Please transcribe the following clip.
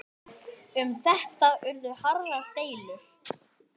Um þetta urðu harðar deilur.